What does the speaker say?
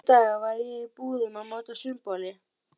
Næstu daga var ég í búðum að máta sundboli.